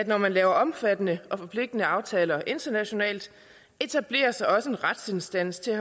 når man laver omfattende og forpligtende aftaler internationalt etableres der også en retsinstans til